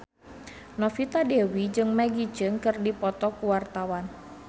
Novita Dewi jeung Maggie Cheung keur dipoto ku wartawan